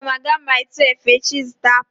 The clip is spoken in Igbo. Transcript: Aga m aga Mile 12 echi ịzụta apụl